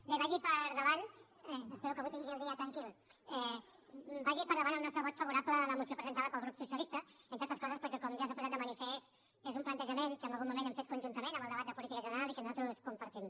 bé vagi per endavant espero que avui tingui el dia tranquil el nostre vot favorable a la moció presentada pel grup socialista entre altres coses perquè com ja s’ha posat de manifest és un plantejament que en algun moment hem fet conjuntament en el debat de política general i que nosaltres compartim